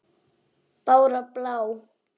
Bára blá!